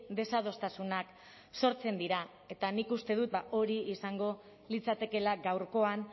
desadostasunak sortzen dira eta nik uste dut hori izango litzatekeela gaurkoan